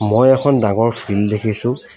মই এখন ডাঙৰ ফিল্ড দেখিছো।